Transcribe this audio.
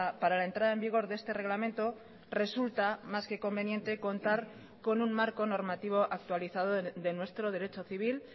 para la entrada en vigor de este reglamento resulta más que conveniente contar con un marco normativo actualizado de nuestro derecho civil